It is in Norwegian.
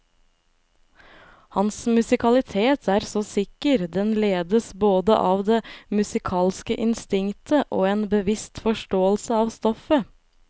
Hans musikalitet er så sikker, den ledes både av det musikalske instinktet og en bevisst forståelse av stoffet.